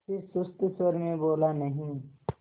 फिर सुस्त स्वर में बोला नहीं